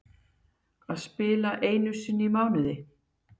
Að spila leik einu sinni í mánuði?